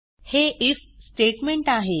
हे if statement आहे